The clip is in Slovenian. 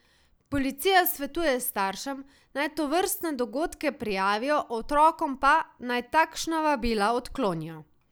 Policija svetuje staršem, naj tovrstne dogodke prijavijo, otrokom pa, naj takšna vabila odklonijo.